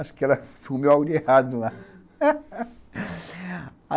Acho que ela comeu algo de errado lá.